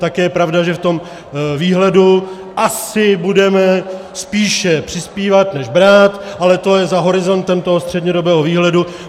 Také je pravda, že v tom výhledu asi budeme spíše přispívat než brát, ale to je za horizontem toho střednědobého výhledu.